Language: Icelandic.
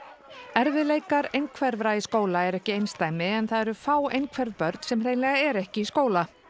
erfiðleikar einhverfra í skóla eru ekki einsdæmi en það eru fá einhverf börn sem hreinlega eru ekki í skóla